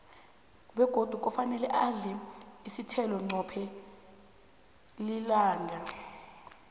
begodi kufane udle isithelo qobe lilanga